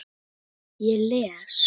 Ég les.